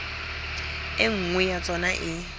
e nngwe ya tsona e